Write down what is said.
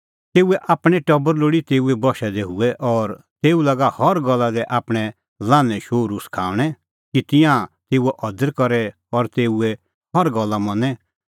तेऊए आपणैं टबर लोल़ी तेऊए बशै दी हुऐ और तेऊ लागा हर गल्ला दी आपणैं लान्हैं शोहरू सखाऊंणै कि तिंयां तेऊओ अदर करे और तेऊए हर गल्ला मनें